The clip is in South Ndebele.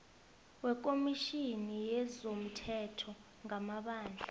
wekomitjhini yezomthetho ngamabandla